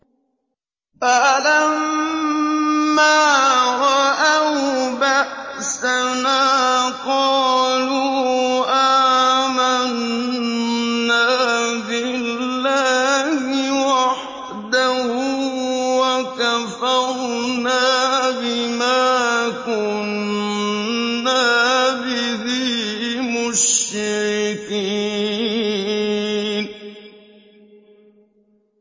فَلَمَّا رَأَوْا بَأْسَنَا قَالُوا آمَنَّا بِاللَّهِ وَحْدَهُ وَكَفَرْنَا بِمَا كُنَّا بِهِ مُشْرِكِينَ